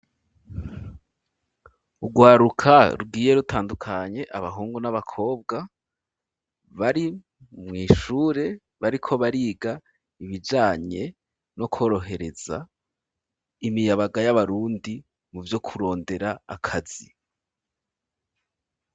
Urwaruka rugiye rutandukanye abahungu n'abakobwa bari mwishure bariko bariga ibijanye no korohereza imiyabaga y'abarundi muvyo kurondera akazi